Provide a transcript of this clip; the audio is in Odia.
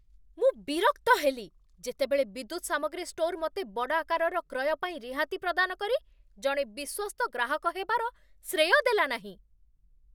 ମୁଁ ବିରକ୍ତ ହେଲି ଯେତେବେଳେ ବିଦ୍ୟୁତ୍ ସାମଗ୍ରୀ ଷ୍ଟୋର୍ ମୋତେ ବଡ଼ ଆକାରର କ୍ରୟ ପାଇଁ ରିହାତି ପ୍ରଦାନ କରି ଜଣେ ବିଶ୍ୱସ୍ତ ଗ୍ରାହକ ହେବାର ଶ୍ରେୟ ଦେଲା ନାହିଁ।